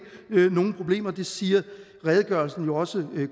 nogen problemer det siger redegørelsen også